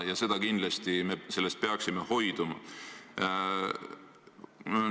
Sellest me peaksime kindlasti hoiduma.